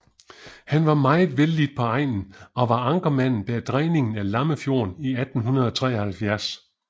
Han var meget vellidt på egnen og var ankermanden bag dræningen af Lammefjorden i 1873